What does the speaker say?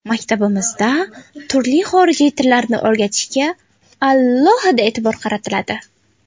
Maktabimizda turli xorijiy tillarni o‘rgatishga alohida e’tibor qaratiladi.